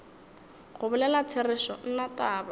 go bolela therešo nna taba